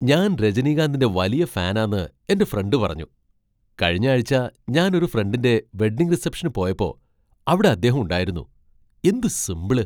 ഞാൻ രജനികാന്തിന്റെ വലിയ ഫാനാന്ന് എൻ്റെ ഫ്രണ്ട് പറഞ്ഞു. കഴിഞ്ഞ ആഴ്ച, ഞാൻ ഒരു ഫ്രണ്ടിന്റെ വെഡിംഗ് റിസപ്ഷന് പോയപ്പോ അവിടെ അദ്ദേഹം ഉണ്ടായിരുന്നു. എന്തു സിമ്പിള്!